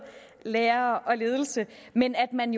lærere og ledelse men at man